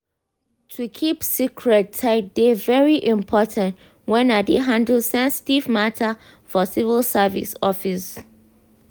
to keep secret tight dey very important when i dey handle sensitive matter for civil service office.